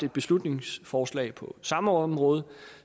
et beslutningsforslag på samme område